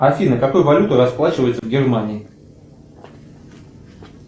афина какой валютой расплачиваются в германии